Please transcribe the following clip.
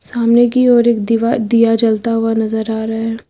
सामने की ओर एक दीवार दिया जलता हुआ नजर आ रहा है।